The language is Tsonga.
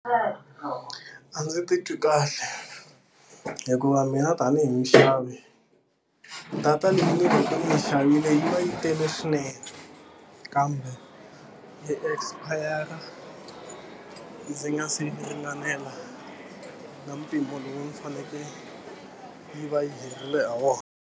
A ndzi titwi kahle. Hikuva mina tanihi muxavi, data leyi ni va ka ni yi xavile yi va yi tele swinene, kambe yi expire-a ndzi nga si ringanela na mpimo lowu ni fanekele yi va yi herile ha wona.